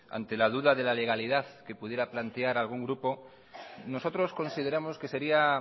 ante la duda de la legalidad que pudiera plantear algún grupo nosotros consideramos que sería